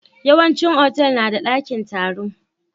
Yawan cin Otal nada dakin taro